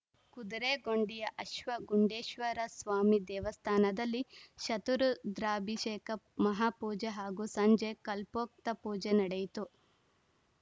ಕುದುರೆಗುಂಡಿಯ ಅಶ್ವ ಗುಂಡೇಶ್ವರಸ್ವಾಮಿ ದೇವಸ್ಥಾನದಲ್ಲಿ ಶತರುದ್ರಾಭಿಷೇಕ ಮಹಾಪೂಜೆ ಹಾಗೂ ಸಂಜೆ ಕಲ್ಪೋಕ್ತಪೂಜೆ ನಡೆಯಿತು